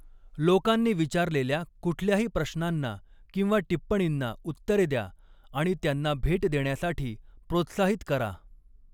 लोकांनी विचारलेल्या कुठल्याही प्रश्नांना किंवा टिप्पणींना उत्तरे द्या आणि त्यांना भेट देण्यासाठी प्रोत्साहित करा.